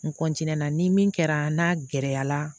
N na ni min kɛra n'a gɛlɛyara